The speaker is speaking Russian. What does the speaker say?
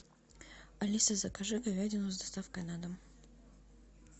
алиса закажи говядину с доставкой на дом